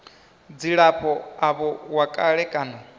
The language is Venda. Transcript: dzilafho avho wa kale kana